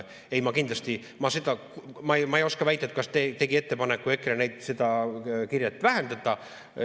Ei, ma kindlasti ei oska väita, kas EKRE tegi ettepaneku seda kirjet vähendada.